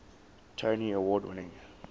tony award winning